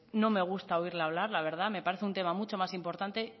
no me gusta oírle hablar la verdad me parece un tema mucho más importante